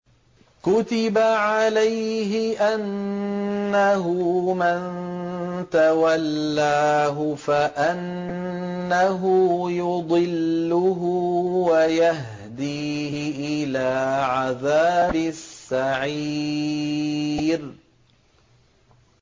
كُتِبَ عَلَيْهِ أَنَّهُ مَن تَوَلَّاهُ فَأَنَّهُ يُضِلُّهُ وَيَهْدِيهِ إِلَىٰ عَذَابِ السَّعِيرِ